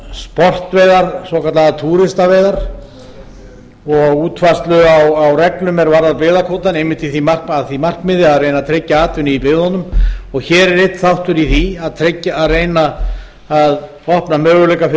sportveiðar svokallaðar túristaveiðar og útfærslu á reglum er varða byggðakvótann einmitt að því markmiði að reyna að tryggja atvinnu í byggðunum og hér er einn þáttur í því að reyna að opna möguleika fyrir fólk